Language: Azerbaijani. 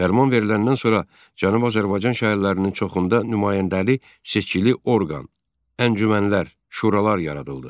Fərman veriləndən sonra Cənubi Azərbaycan şəhərlərinin çoxunda nümayəndəli seçkili orqan, əncümənlər, şuralar yaradıldı.